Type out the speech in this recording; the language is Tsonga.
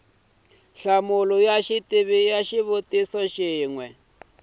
nhlamulo ya xivutiso xin wana